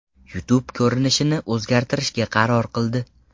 YouTube ko‘rinishini o‘zgartirishga qaror qildi.